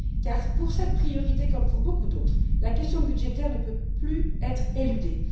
Car, pour cette priorité comme pour beaucoup d'autres, la question budgétaire ne peut plus être éludée.